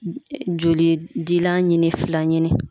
Joli dilan ɲini fila ɲini.